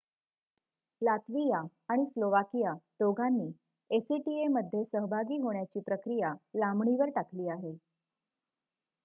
Latvia आणि Slovakia दोघांनी acta मध्ये सहभागी होण्याची प्रक्रिया लांबणीवर टाकली आहे